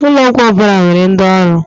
Ụlọ ọgwọ ọbụla nwere ndi ọrụ.